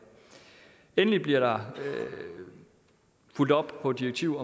endelig bliver der fulgt op på et direktiv